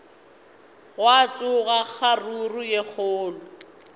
gwa tsoga kgaruru ye kgolo